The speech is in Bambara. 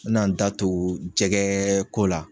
N mɛna n da to jɛgɛko la.